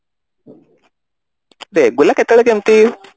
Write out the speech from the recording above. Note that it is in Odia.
regular କେତେବେଳେ କେମିତି